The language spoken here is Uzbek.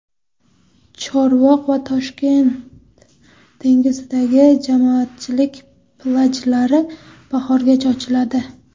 Chorvoq va Toshkent dengizidagi jamoatchilik plyajlari bahorgacha ochiladi.